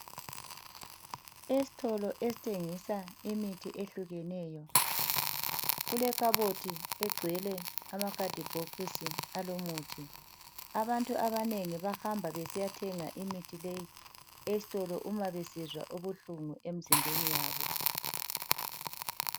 Esitolo esithengisa imithi ehlukeneyo kulekhabothi egcwele amakhadibhokisi alomuthi. Abantu abanengi bahamba besiya thenga imithi leyi esitolo uma besizwa ubuhlungu emzimbeni yabo.